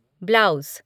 blouse